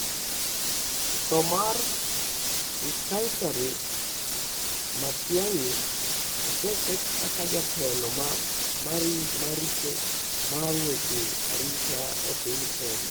Tho mar Nkaissery: Matiang'i oseket kaka jatelo maricho mar weche arita e piny Kenya